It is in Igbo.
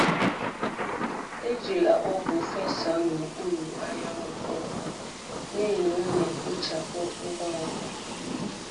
Ejila ọgwụ fesaa n’okpuru anyanwụ kpọmkwem, n’ihi na ọ na-ekpochapụ ngwa ngwa.